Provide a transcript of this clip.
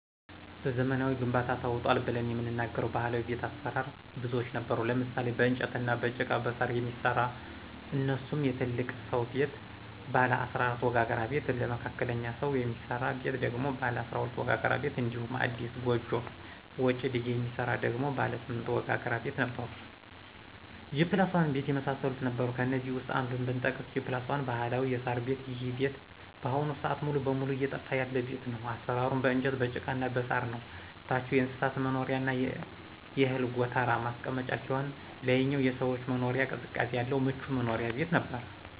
በዘመናዊ ግንባታ ተውጧል ብለን የምንናገረው ባህላዊ ቤት አሰራር ብዙዎች ነበሩ ለምሳሌ :- በእንጨትና በጭቃ በሳር የሚሰራ እነሱሙ የትልቅ ስው ቤት ባለ 14 ወጋግራ ቤት ለመካከለኞ ሰው የሚስራ ቤት ደግሞ ባለ 12 ወጋግራ ቤት እንዲሁም አዲስ ጎጆ ወጭ ልጅ የሚሰራ ደግሞ ባለ 8 ወጋግራ ቤት ነበሩ G+1 ቤት የመሳሰሉት ነበሩ ከእነዚህ ውስጥ አንዱን ብጠቅስ G+1 ባህላዊ የሳር ቤት ይሄ ቤት በአሁኑ ስአት ሙሉ በሙሉ እየጠፋ ያለ ቤት ነው አሰራሩም በእንጨት በጭቃና በሳር ነው ታቹ የእንስሳት መኖሪያና የእህል ጎተራ ማስቀመጫ ሲሆን ላይኛው የሰዎች መኖሪያ ቅዝቃዜ ያለው ምቹ መኖሪያ ቤት ነበር።